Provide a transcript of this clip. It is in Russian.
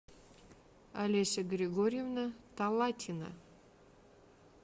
олеся григорьевна талатина